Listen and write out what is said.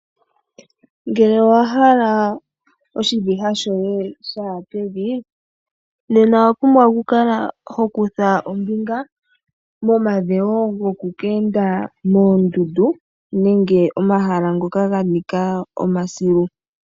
Ngele owahala oshiviha shoye shaya pevi, nena owa pumbwa oku kala ho kutha ombinga momadhewo goku keenda moondundu nenge omahala ngoka ganika omasilu.